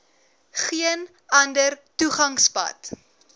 geen ander toegangspad